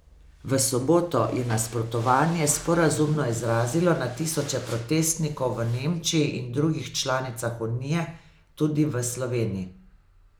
V soboto je nasprotovanje sporazumu izrazilo na tisoče protestnikov v Nemčiji in drugih članicah unije, tudi v Sloveniji.